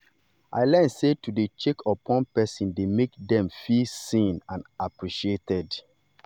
i learn sey to dey check upon people dey make dem feel seen and appreciated.